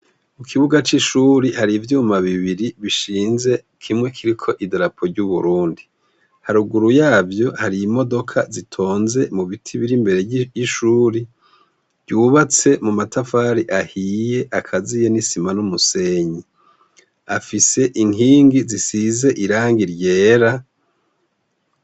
Ku kibuga c'ishure hari ivyuma bibiri bishinze, kimwe kiriko idarapo ry'u Burundi, haruguru yavyo hari imodoka zitonze mu biti biri imbere y'ishure, ryubatse mu matafari ahiye akaziye n'isima n'umusenyi, afise inkingi zisize irangi ryera.